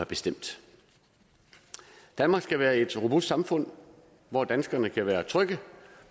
bestemt danmark skal være et robust samfund hvor danskerne kan være trygge